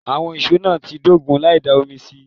Àwọn ìşó náà ń dógun láì dá omi sí i